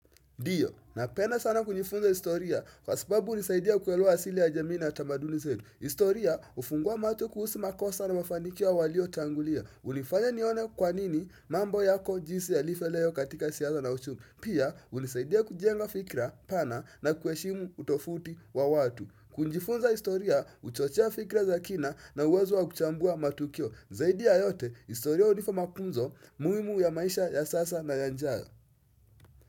Dio, napenda sana kujifunza historia kwa sababu unisaidia kuelewa asili ya jamii na tamaduni zetu. Istoria, hufungua macho kuhusu makosa na mafanikio walio tangulia. Unifanya nione kwa nini mambo yako jinsi yalifo leo katika siasa na ushumi. Pia, unisaidia kujenga fikra pana na kueshimu utofauti wa watu. Kunjifunza historia, huchochea fikra za kina na uwezo wa kuchambua matukio. Zaidi ya yote, historia unifa mafunzo muimu ya maisha ya sasa na yanjayo.